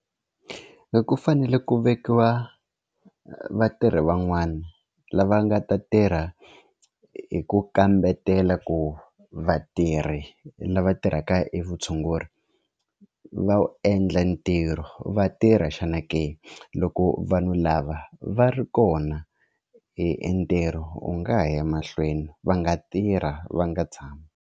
Ku fanele ku vekiwa vatirhi van'wana lava nga ta tirha hi ku kambetela ku vatirhi lava tirhaka i vutshunguri va wu endla ntirho va tirha xana ke loko vanhu lava va ri kona i ntirho u nga ha ya emahlweni va nga tirha va nga tshami.